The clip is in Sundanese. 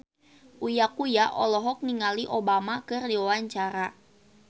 Uya Kuya olohok ningali Obama keur diwawancara